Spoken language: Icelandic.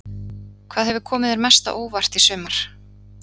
Hvað hefur komið þér mest á óvart í sumar?